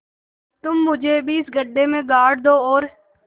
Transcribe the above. तुम मुझे भी इस गड्ढे में गाड़ दो और